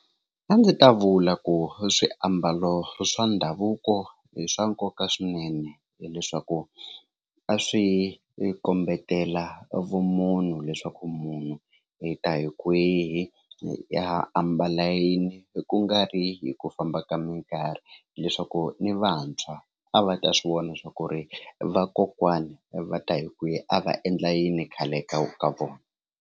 A ndzi ta vula ku swiambalo swa ndhavuko hi swa nkoka swinene hileswaku a swi kombetela vumunhu leswaku munhu hi ta hi kwihi yi ya ambala yini ku nga ri hi ku famba ka mikarhi hileswaku ni vantshwa a va ta swi vona swa ku ri vakokwana va ta hi kwihi a va endla yini khale ka ka vona.